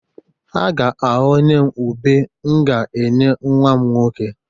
Ha ga-aghọnye m ube m ga-enye nwa m nwoke.